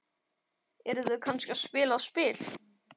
Eru þau kannski að spila á spil?